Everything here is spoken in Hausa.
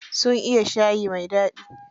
Sun iya shayi mai daɗi.